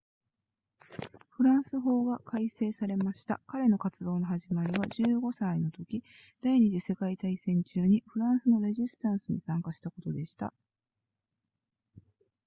フランス法が改正されました彼の活動の始まりは15歳のとき第二次世界大戦中にフランスのレジスタンスに参加したことでした